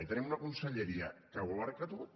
i tenim una conselleria que ho abasta tot